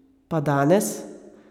Pa danes?